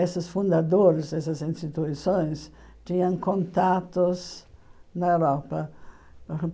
Esses fundadores, essas instituições, tinham contatos na Europa.